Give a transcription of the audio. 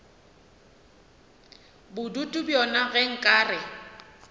bodutu bjona ge nka re